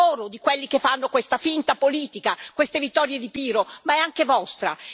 Loro, di quelli che fanno questa finta politica, queste vittorie di Pirro, ma è anche vostra.